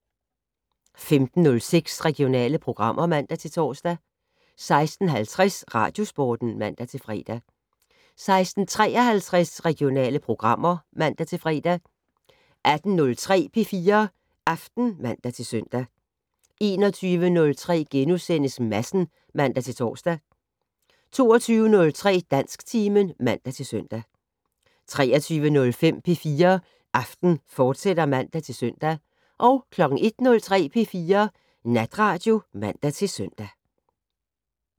15:06: Regionale programmer (man-tor) 16:50: Radiosporten (man-fre) 16:53: Regionale programmer (man-fre) 18:03: P4 Aften (man-søn) 21:03: Madsen *(man-tor) 22:03: Dansktimen (man-søn) 23:05: P4 Aften, fortsat (man-søn) 01:03: P4 Natradio (man-søn)